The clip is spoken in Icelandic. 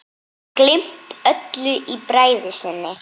Gleymt öllu í bræði sinni.